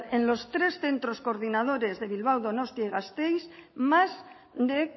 en los tres centros coordinadores de bilbao donostia y gasteiz más de